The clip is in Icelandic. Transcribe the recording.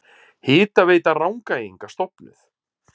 Hitaveita Rangæinga stofnuð.